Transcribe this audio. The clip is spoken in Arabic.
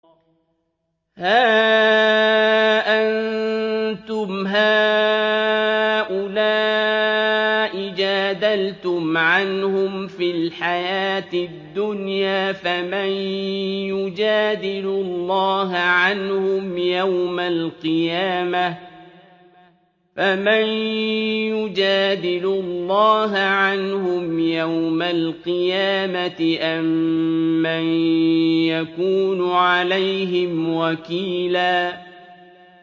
هَا أَنتُمْ هَٰؤُلَاءِ جَادَلْتُمْ عَنْهُمْ فِي الْحَيَاةِ الدُّنْيَا فَمَن يُجَادِلُ اللَّهَ عَنْهُمْ يَوْمَ الْقِيَامَةِ أَم مَّن يَكُونُ عَلَيْهِمْ وَكِيلًا